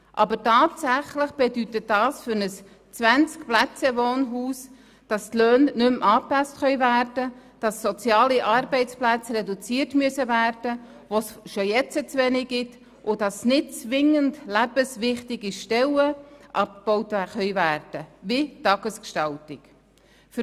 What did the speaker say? Aber tatsächlich bedeutet das für ein Wohnhaus mit 20 Plätzen, dass die Löhne nicht mehr angepasst werden können, dass soziale Arbeitsplätze reduziert werden müssen, von denen es ja bereits heute zu wenige gibt, und dass nicht zwingend lebenswichtige Stellen wie die Tagesgestaltung abgebaut werden.